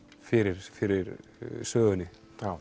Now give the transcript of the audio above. fyrir fyrir sögunni